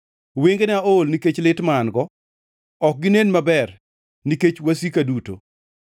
Wengena ool nikech lit ma an-go; ok ginen maber nikech wasika duto.